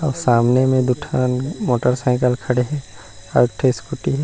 और सामने में दो ठन मोटरसिक्ल खड़े है और एक ठो स्कूटी ।